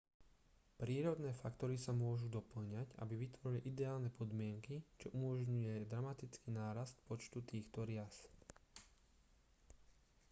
prírodné faktory sa môžu dopĺňať aby vytvorili ideálne podmienky čo umožňuje dramatický nárast počtu týchto rias